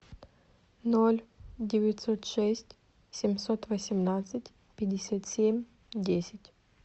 ноль девятьсот шесть семьсот восемнадцать пятьдесят семь десять